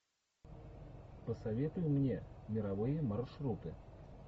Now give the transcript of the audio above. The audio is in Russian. посоветуй мне мировые маршруты